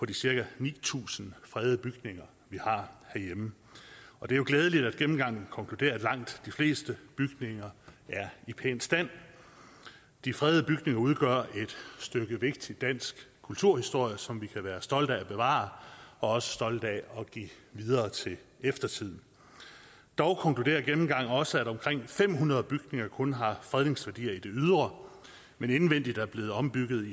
de cirka ni tusind fredede bygninger vi har herhjemme og det er jo glædeligt at gennemgangen konkluderer at langt de fleste bygninger er i pæn stand de fredede bygninger udgør et stykke vigtigt dansk kulturhistorie som vi kan være stolte af at bevare og også stolte af at give videre til eftertiden dog konkluderer gennemgangen også at omkring fem hundrede bygninger kun har fredningsværdi i det ydre men indvendigt er blevet ombygget